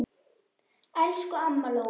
Elsku amma Lóa.